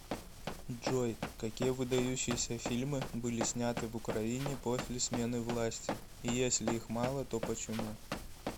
джой какие выдающиеся фильмы были сняты в украине после смены власти и если их мало то почему